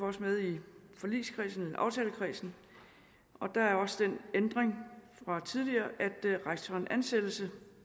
også med i aftalekredsen der er også den ændring fra tidligere at rektoren ansættes